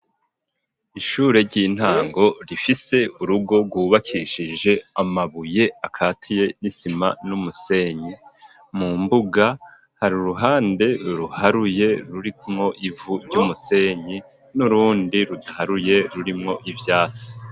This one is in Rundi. Ishure ry'intango, rifise urugo rwubakishije amabuye akatiye n'isima n'umusenyi; mu mbuga hari uruhande ruharuye, rurimwo ivu ry'umusenyi, n'urundi rudaharuye rurimwo ivyatsi.